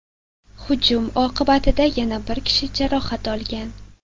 Hujum oqibatida yana bir kishi jarohat olgan.